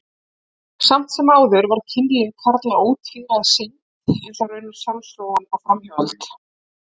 Samt sem áður var kynlíf karla ótvíræð synd, eins og raunar sjálfsfróun og framhjáhald.